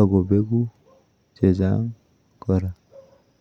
akobeku chechang kora.